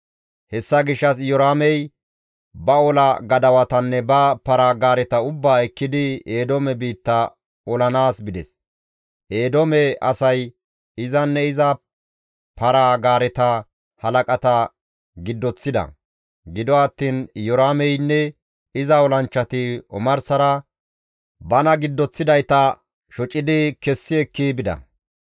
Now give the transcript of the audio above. Hessa gishshas Iyoraamey ba ola gadawatanne ba para-gaareta ubbaa ekkidi Eedoome biitta olanaas bides; Eedoome asay izanne iza para-gaareta halaqata giddoththides; gido attiin Iyoraameynne iza olanchchati omarsara bana giddoththidayta shocidi kessi ekki bida.